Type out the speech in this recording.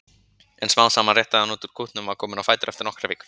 En smám saman rétti hann úr kútnum og var kominn á fætur eftir nokkrar vikur.